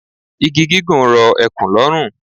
Igi gígùn rọ ekùn lọ́rùn.